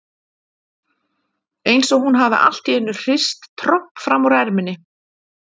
Eins og hún hafi allt í einu hrist tromp fram úr erminni.